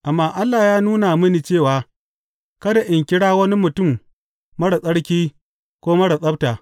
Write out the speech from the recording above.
Amma Allah ya nuna mini cewa kada in kira wani mutum marar tsarki ko marar tsabta.